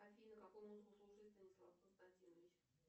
афина какую музыку слушает станислав константинович